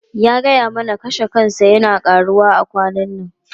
Ya gaya mana cewa kashe kansa yana karuwa a kwanan nan.